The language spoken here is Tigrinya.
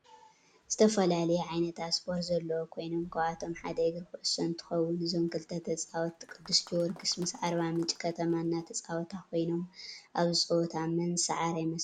ዝተፈላለዩ ዓይነታት ስፓርት ዘለዎ ኮይኖም ካብአቶም ሓደ እግሪ ኩዕሶ እንትከውን እዞም ክልተ ተፃወቲ ቅድስ ጊርግስን ምስ አርባ ምንጭ ከተማ እናተፃወታ ኮይኖም አብዚ ፀወታ መን ዝስዓረ ይመስለኩም?